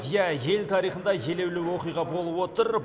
иә ел тарихында елеулі оқиға болып отыр